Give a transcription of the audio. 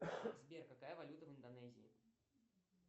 сбер какая валюта в индонезии